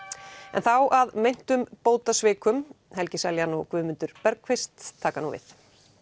en þá að meintum bótasvikum helgi Seljan og Guðmundur taka nú við